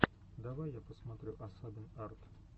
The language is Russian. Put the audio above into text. давай я посмотрю асабин арт